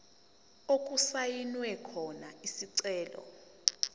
okusayinwe khona isicelo